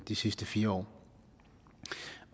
de sidste fire år